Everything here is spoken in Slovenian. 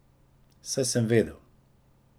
Saj sem vedel.